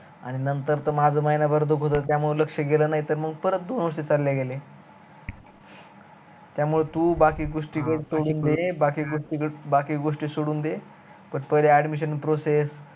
आणि नंतर त माझ महिनाभर त्याकड लक्ष्य्य गेल नाही तर परत दोन वर्ष चालले गेले त्यामुळे तू बाकी गोष्टी कड सोडून दे, बाकी गोष्टी कड सोडून दे पण पहिलं admission process